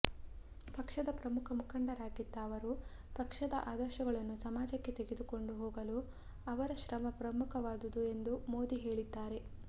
ಪಕ್ಷದ ಪ್ರಮುಖ ಮುಖಂಡರಾಗಿದ್ದ ಅವರು ಪಕ್ಷದ ಆದರ್ಶಗಳನ್ನು ಸಮಾಜಕ್ಕೆ ತೆಗೆದುಕೊಂಡು ಹೋಗಲು ಅವರ ಶ್ರಮ ಪ್ರಮುಖವಾದುದು ಎಂದು ಮೋದಿ ಹೇಳಿದ್ದಾರೆ